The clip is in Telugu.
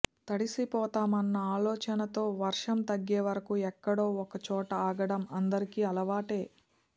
తడిసిపోతామన్న ఆలోచనతో వర్షం తగ్గేవరకు ఎక్కడో ఓచోట ఆగటం అందరికీ అలవాటే